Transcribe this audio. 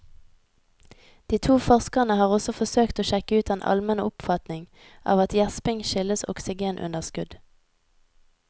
De to forskerne har også forsøkt å sjekke ut den almene oppfatning av at gjesping skyldes oksygenunderskudd.